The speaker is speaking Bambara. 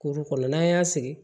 Kuru kɔnɔ n'an y'a sigi